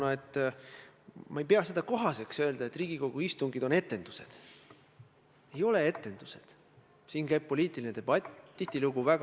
Teie kui peaminister, mida te kavatsete teha, et lõpetada oma valitsuse liikme, oma valitsuse siseministri rünnakud prokuratuuri aadressil?